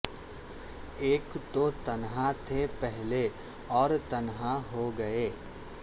ایک توتنہا تھے پہلے او ر تنہا ہو گئے